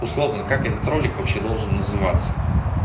условно как этот ролик вообще должен называться